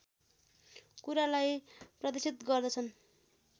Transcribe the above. कुरालाई प्रदर्शित गर्दछन्